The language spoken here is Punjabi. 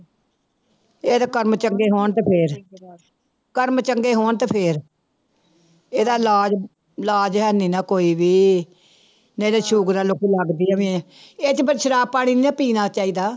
ਇਹਦੇ ਕਰਮ ਚੰਗੇ ਹੋਣ ਤੇ ਫਿਰ ਕਰਮ ਚੰਗੇ ਹੋਣ ਤੇ ਫਿਰ ਇਹਦਾ ਇਲਾਜ਼ ਇਲਾਜ਼ ਹੈਨੀ ਨਾ ਕੋਈ ਵੀ, ਨਹੀਂ ਤੇ ਸੂਗਰ ਲੋਕੀ ਲੱਗਦੀ ਆ ਵੇ, ਇਹ ਚ ਪਰ ਸ਼ਰਾਬ ਪਾਣੀ ਨੀ ਨਾ ਪੀਣਾ ਚਾਹੀਦਾ।